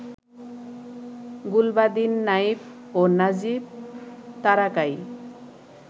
গুলবাদিন নাইব ও নাজীব তারাকাই